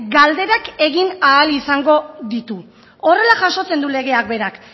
galderak egin ahal izango ditu horrela jasotzen du legeak berak